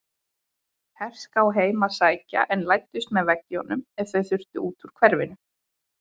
Herská heim að sækja en læddust með veggjum ef þau þurftu út úr hverfinu.